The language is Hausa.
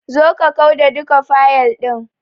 Zo ka kau da duka fayil ɗin.